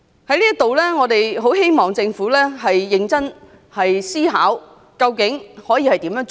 在這裏，我們很希望政府認真思考究竟怎樣做。